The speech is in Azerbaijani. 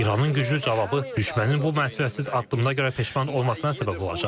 İranın güclü cavabı düşmənin bu məsuliyyətsiz addımına görə peşman olmasına səbəb olacaq.